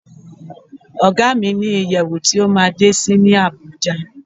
Ọ̀gá mi ní ìyẹ̀wù tí ó máa ń dé sí ní Àbújá.